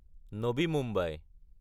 Navi Mumbai